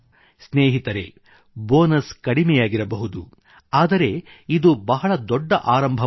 ಸ್ನೇಹಿತರೆ ಬೋನಸ್ ಕಡಿಮೆಯಾಗಿರಬಹುದು ಆದರೆ ಇದು ಬಹಳ ದೊಡ್ಡ ಆರಂಭವಾಗಿದೆ